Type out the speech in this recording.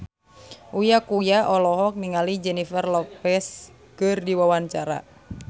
Uya Kuya olohok ningali Jennifer Lopez keur diwawancara